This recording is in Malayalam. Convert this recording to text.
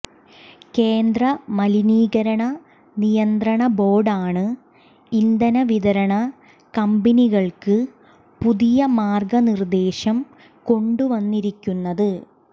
കേന്ദ്ര മലിനീകരണ നിയന്ത്രണ ബോര്ഡാണ് ഇന്ധന വിതരണ കമ്പനികള്ക്ക് പുതിയ മാര്ഗനിര്ദ്ദേശം കൊണ്ടുവന്നിരിക്കുന്നത്